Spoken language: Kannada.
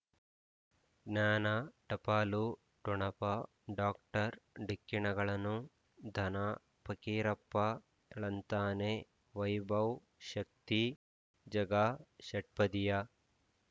ಜ್ಞಾನ ಟಪಾಲು ಠೊಣಪ ಡಾಕ್ಟರ್ ಢಿಕ್ಕಿ ಣಗಳನು ಧನ ಫಕೀರಪ್ಪ ಳಂತಾನೆ ವೈಭವ್ ಶಕ್ತಿ ಝಗಾ ಷಟ್ಪದಿಯ